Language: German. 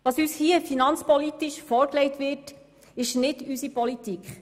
Was uns hier finanzpolitisch vorgelegt wird, ist nicht unsere Politik.